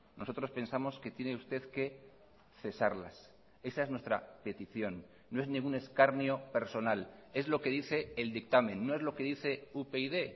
nosotros pensamos que tiene usted que cesarlas esa es nuestra petición no es ningún escarnio personal es lo que dice el dictamen no es lo que dice upyd